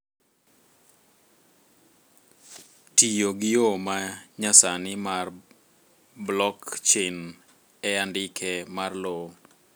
Tiyo gi yoo ma nyasani mar blockchain e andike mar lowo